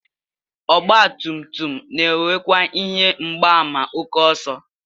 Ọgbatumtum na-enwekwa ihe mgbaàmà ókè ọsọ